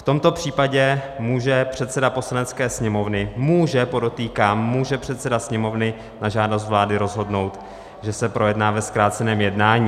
V tomto případě může předseda Poslanecké sněmovny - může, podotýkám - může předseda Sněmovny na žádost vlády rozhodnout, že se projedná ve zkráceném jednání.